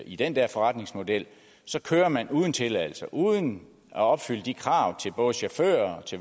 i den der forretningsmodel kører man uden tilladelse og uden at opfylde de krav til både chauffører